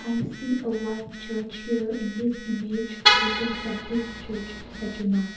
we see a white church here in this image written baptist church sechuma.